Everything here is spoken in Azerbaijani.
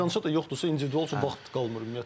Meydança da yoxdursa individual üçün vaxt qalmır ümumiyyətlə.